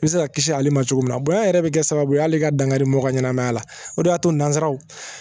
I bɛ se ka kisi ale ma cogo min na bonya yɛrɛ bɛ kɛ sababu ye hali ka dankari mɔgɔ ka ɲɛnamaya la o de y'a to nanzaraw